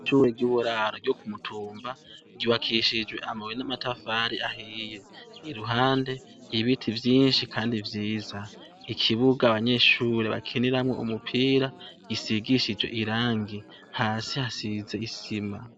ishure ry'uburaro yo kumutumba ryubakishijwe amabuye n'amatafari ahiye i ruhande ibiti vyinshi kandi yiza ikibuga abanyeshuri bakiniramwo umupira risigishije irangi hasi hasize isima